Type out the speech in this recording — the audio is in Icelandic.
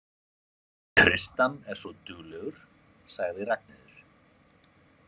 Tristan er svo duglegur, sagði Ragnheiður.